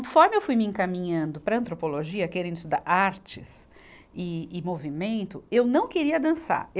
eu fui me encaminhando para a antropologia, querendo estudar artes e, e movimento, eu não queria dançar.